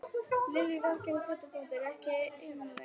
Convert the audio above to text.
Lillý Valgerður Pétursdóttir: Er ekkert einmanalegt?